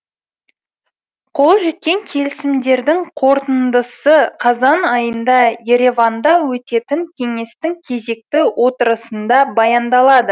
қол жеткен келісімдердің қорытындысы қазан айында ереванда өтетін кеңестің кезекті отырысында баяндалады